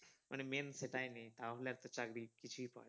মানে main সেটাই নেই তাহলে তো আর চাকরি কিছুই